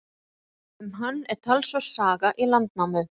Um hann er talsverð saga í Landnámu.